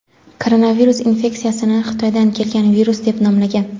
koronavirus infeksiyasini "Xitoydan kelgan virus" deb nomlagan.